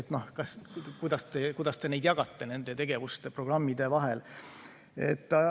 Kuidas te jagate nende tegevuste ja programmide vahel?